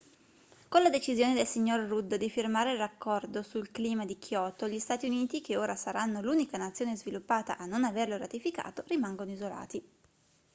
con la decisione del signor rudd di firmare l'accordo sul clima di kyoto gli stati uniti che ora saranno l'unica nazione sviluppata a non averlo ratificato rimangono isolati